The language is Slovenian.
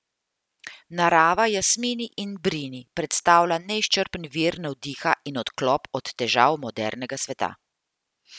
Narava Jasmini in Brini predstavlja neizčrpen vir navdiha in odklop od težav modernega sveta.